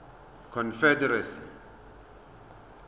confederacy